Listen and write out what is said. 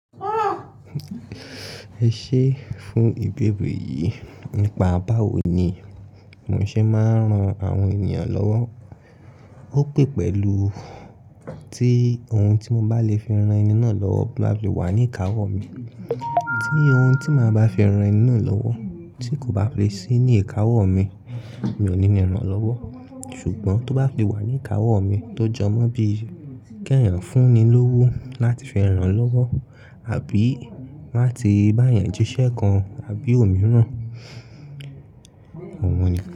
Ẹ ṣé fún ìbéèrè yìí. Nípa báwo ni mọ̀ ṣe máa ń ran àwọn ènìyàn lọ́wọ́. Ó pẹ́ pẹ̀lú tí oun tí mo bá lè fi rán ẹni náà lọ́wọ́ máa fi wà ní ìkáwọ́ mi. Tí oun tí màá bá fi rán ẹni náà lọ́wọ́ tí kò bá fi sí ní ìkáwọ́ mi, mi ò ní ní ran lọ́wọ́. Ṣùgbọ́n tó bá fi wà ní ìkáwọ́ mi tó jọmọ́ bí i kí ẹ̀yàn fún ni lówó láti fi rán lọ́wọ́ àbí láti bá yan jíṣẹ́ kan àbí òmíràn. Oun nìkan.